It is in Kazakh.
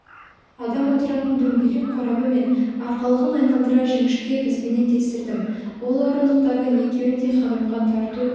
адам отыратын дөңгелек қорабы мен арқалығын айналдыра жіңішке бізбенен тестірдім ол орындықтардың екеуін де ханымға тарту